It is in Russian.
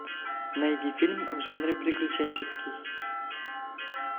найди фильм в жанре приключенческий